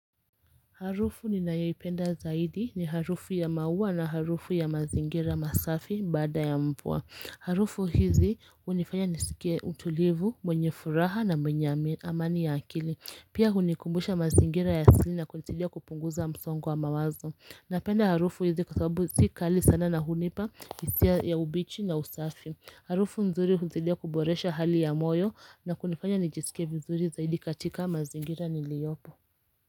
Harufu ninayoipenda zaidi ni harufu ya maua na harufu ya mazingira masafi baada ya mvua. Harufu hizi hunifanya nisike utulivu, mwenye furaha na mwenye amani ya akili. Pia hunikumbusha mazingira ya asili na kunisidia kupunguza msongo wa mawazo. Napenda harufu hizi kwa sababu sikali sana na hunipa, hisia ya ubichi na usafi. Harufu nzuri hunisidia kuboresha hali ya moyo na kunifanya nijisike vizuri zaidi katika mazingira niliyopo.